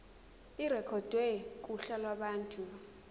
irekhodwe kuhla lwabantu